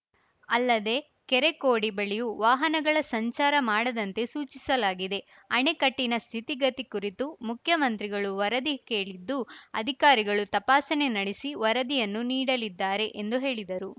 ಅಲ್ಲದೆ ಕೆರೆ ಕೋಡಿ ಬಳಿಯೂ ವಾಹನಗಳ ಸಂಚಾರ ಮಾಡದಂತೆ ಸೂಚಿಸಲಾಗಿದೆ ಅಣೆಕಟ್ಟಿನ ಸ್ಥಿತಿಗತಿ ಕುರಿತು ಮುಖ್ಯಮಂತ್ರಿಗಳು ವರದಿ ಕೇಳಿದ್ದು ಅಧಿಕಾರಿಗಳು ತಪಾಸಣೆ ನಡೆಸಿ ವರದಿಯನ್ನು ನೀಡಲಿದ್ದಾರೆ ಎಂದು ಹೇಳಿದರು